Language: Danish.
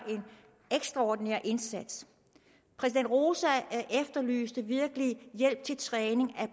ekstraordinær indsats præsident roza efterlyste virkelig hjælp til træning af